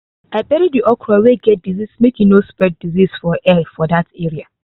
i bury the okra wey get disease make e no spread disease for air for that area.